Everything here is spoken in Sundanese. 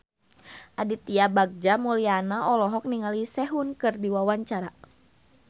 Aditya Bagja Mulyana olohok ningali Sehun keur diwawancara